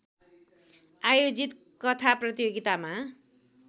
आयोजित कथा प्रतियोगितामा